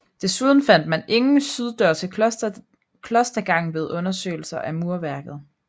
Desuden fandt man ingen syddør til klostergangen ved undersøgelser af murværket